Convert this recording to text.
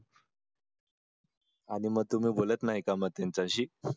आणि मग तुम्ही बोलत नाही का मग त्यांच्याशी